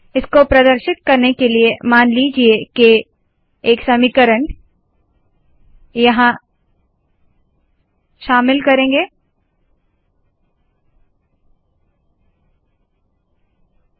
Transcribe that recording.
इसको प्रदर्शित करने के लिए मान लीजिए के एक समीकरण यहाँ शामिल किया है